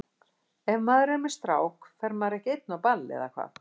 Ef maður er með strák fer maður ekki einn á ball, eða hvað?